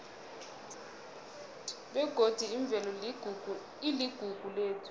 begodi imvelo iligugu lethu